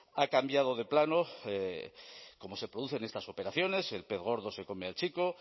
ha cambiado de plano como se producen estas operaciones el pez gordo se come al chico